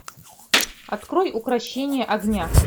открой укрощение огня